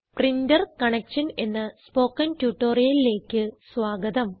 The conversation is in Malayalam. പ്രിന്റർ കണക്ഷൻ എന്ന സ്പോകെൺ ട്യൂട്ടോറിയലിലേക്ക് സ്വാഗതം